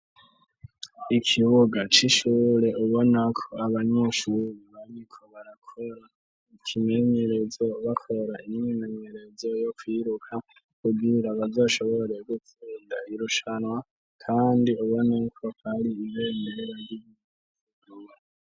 Ikibuga c’ishure ubona ko abanyeshuri bariko barakora ikimenyerezo bakora imyimenyerezo yo kwiruka kugira bazashobore gutsinda irushanwa kandi ubona ko hari ibendera ry’igihugu.